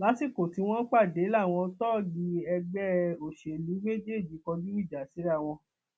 lásìkò tí wọn pàdé làwọn tóógì ẹgbẹ òṣèlú méjèèjì kọjú ìjà síra wọn